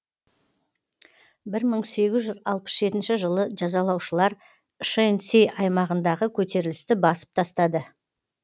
бір мың сегіз жүз алпыс жетінші жылы жазалаушылар шэньси аймағындағы көтерілісті басып тастады